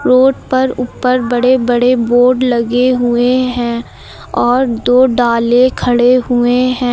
Road पर ऊपर बड़े बड़े बोर्ड लगे हुए हैं और दो डाले खड़े हुए हैं।